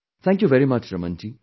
Thank you very much, Raman ji